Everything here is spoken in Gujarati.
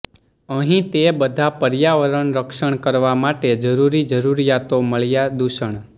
અહીં તે બધા પર્યાવરણ રક્ષણ કરવા માટે જરૂરી જરૂરિયાતો મળ્યા દૂષણ